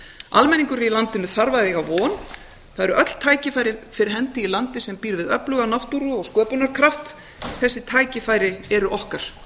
almenningur í landinu þarf að eiga von það eru öll tækifæri fyrir hendi í landi sem býr við öfluga náttúru og sköpunarkraft þessi tækifæri eru okkar